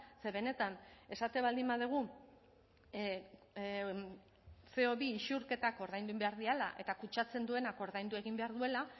ze benetan esaten baldin badugu ce o bi isurketak ordaindu egin behar direla eta kutsatzen duenak ordaindu egin behar duela